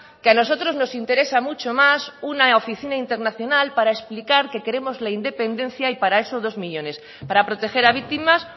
que a nosotros nos interesa mucho más una oficina internacional para explicar que queremos la independencia y para eso dos millónes para proteger a víctimas